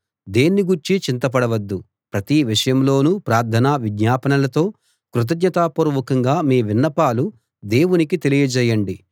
దేన్ని గూర్చీ చింతపడవద్దు ప్రతి విషయంలోను ప్రార్థన విజ్ఞాపనలతో కృతజ్ఞతాపూర్వకంగా మీ విన్నపాలు దేవునికి తెలియజేయండి